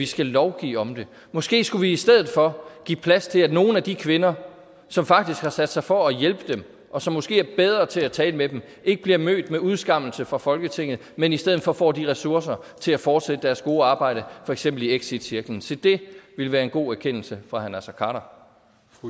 skal lovgive om det måske skulle vi i stedet for give plads til at nogle af de kvinder som faktisk har sat sig for at hjælpe dem og som måske er bedre til at tale med dem ikke bliver mødt med udskammelse fra folketinget men i stedet for får de ressourcer til at fortsætte deres gode arbejde for eksempel i exitcirklen se det ville være en god erkendelse fra herre naser